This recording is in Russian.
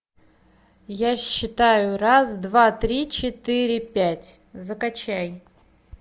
я считаю раз два три четыре пять закачай